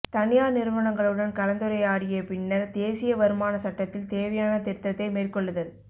தனியார் நிறுவனங்களுடன் கலந்துரையாடிய பின்னர் தேசிய வருமான சட்டத்தில் தேவையான திருத்தத்தை மேற்கொள்ளுதல்